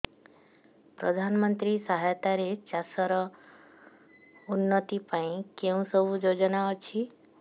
ପ୍ରଧାନମନ୍ତ୍ରୀ ସହାୟତା ରେ ଚାଷ ର ଉନ୍ନତି ପାଇଁ କେଉଁ ସବୁ ଯୋଜନା ଅଛି